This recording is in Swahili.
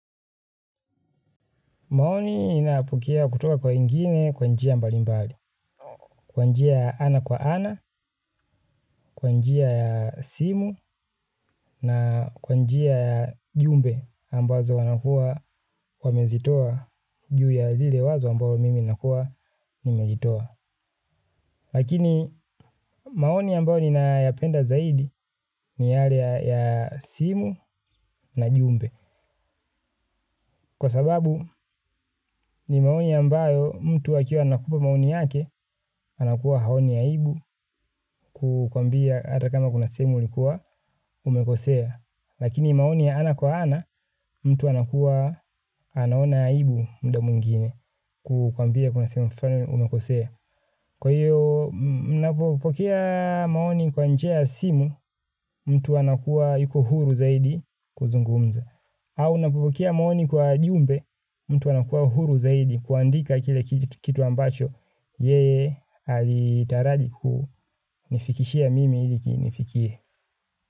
Maoni ninapokea kutoka kwa wengine kwa njia mbali mbali. Kwa njia ya ana kwa ana, kwanjia ya simu na kwanjia ya jumbe ambazo wanakua kwa mezitoa juu ya lile wazo ambazo mimi nakua nimeitoa. Lakini maoni yambayo ninayapenda zaidi ni yale ya simu na jumbe. Kwa sababu ni maoni yambayo mtu akiwa anakupa maoni yake anakua haoni ya ibu kukwambia ata kama kuna semu ulikuwa umekosea. Lakini maoni ya ana kwa ana mtu anakua anaona yaibu mda muingine kukwambia kuna semu flani umekosea. Kwa hiyo unapopokea maoni kwa njia simu mtu anakuwa yuko huru zaidi kuzungumza. Au unapopokea maoni kwa jumbe mtu anakuwa huru zaidi kuandika kile kitu ambacho yeye alitaraji ku nifikishia mimi iliki nifikie.